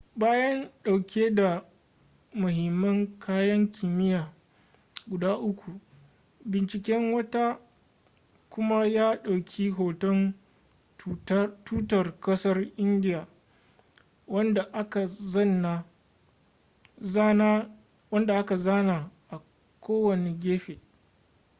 bayan ɗauke da mahimman kayan kimiyya guda uku binciken wata kuma ya ɗauki hoton tutar ƙasar indiya wanda aka zana a kowane gefe